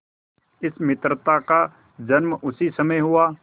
इस मित्रता का जन्म उसी समय हुआ